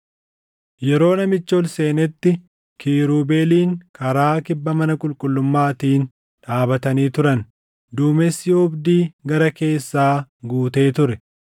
Yeroo namichi ol seenetti kiirubeeliin karaa kibba mana qulqullummaatiin dhaabatanii turan; duumessi oobdii gara keessaa guutee ture.